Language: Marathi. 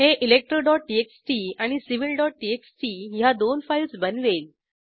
हे electroटीएक्सटी आणि civiltxtह्या दोन फाईल्स बनवेल